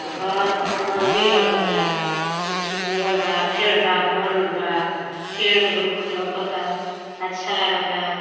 घर मंदिर लउकता। कुछ बोअल बा। फेड़ बा। घन बा। फेड़ रुख लउकता। अच्छा लागता।